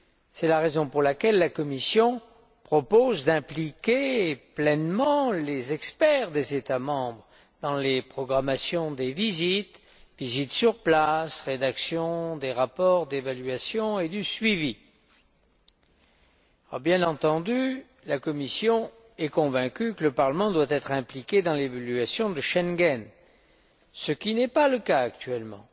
C'est la raison pour laquelle la Commission propose d'impliquer pleinement les experts des États membres dans les programmations des visites, visites sur place, rédaction des rapports d'évaluation et du suivi. Bien entendu, la Commission est convaincue que le Parlement doit être impliqué dans l'évaluation de Schengen, ce qui n'est pas le cas actuellement.